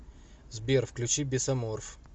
сбер включи бесоморф